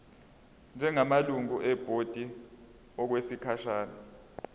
njengamalungu ebhodi okwesikhashana